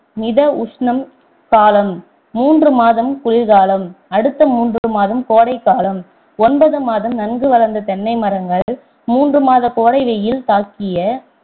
மித உஷ்ணம் காலம் மூன்று மாதம் குளிர் காலம் அடுத்த மூன்று மாதம் கோடை காலம் ஒன்பது மாதம் நன்கு வளர்ந்த தென்னை மரங்கள் மூன்று மாத கோடை வெயில் தாக்கி